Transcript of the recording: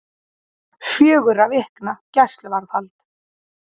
Fjögurra vikna gæsluvarðhald